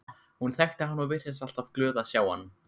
Hún þekkti hann og virtist alltaf glöð að sjá hann.